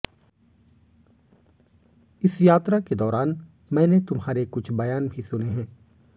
इस यात्रा के दौरान मैंने तुम्हारे कु छ बयान भी सुने हैं